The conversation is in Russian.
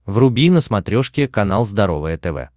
вруби на смотрешке канал здоровое тв